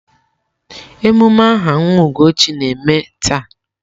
Emume aha nwa Ugochi na-eme taa.